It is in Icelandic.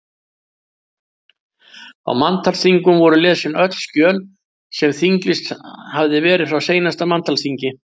Á manntalsþingum voru lesin öll skjöl sem þinglýst hafði verið frá seinasta manntalsþingi.